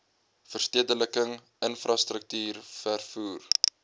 verstedeliking infrastruktuur vervoer